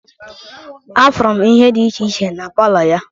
Afụrụ m ihe dị iche iche na palọ ya.